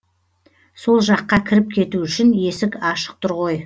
сол жаққа кіріп кету үшін есік ашық тұр ғой